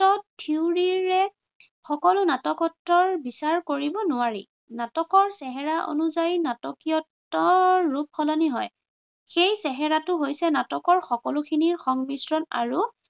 theory ৰে সকলো নাটকত্বৰ বিচাৰ কৰিব নোৱাৰি। নাটকে চেহেৰা অনুযায়ী নাটকীয়ত্বৰ ৰূপ সলনি হয়। সেই চেহেৰাটো হৈছে নাটকৰ সকলোখিনিৰ সংমিশ্ৰণ আৰু